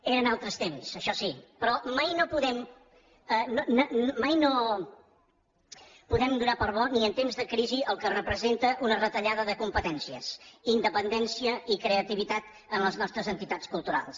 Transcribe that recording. eren altres temps això sí però mai no podem donar per bo ni en temps de crisi el que representa una retallada de competències independència i creativitat en les nostres entitats culturals